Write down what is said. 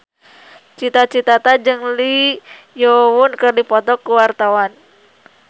Cita Citata jeung Lee Yo Won keur dipoto ku wartawan